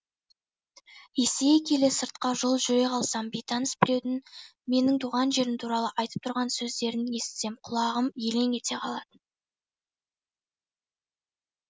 есейе келе сыртқа жол жүре қалсам бейтаныс біреудің менің туған жерім туралы айтып тұрған сөздерін естісем құлағым елең ете қалатын